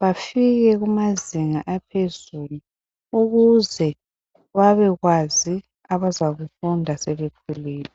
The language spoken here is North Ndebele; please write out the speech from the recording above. bafike kumazinga aphezulu ukuze babekwazi abazakufunda sebekhulile.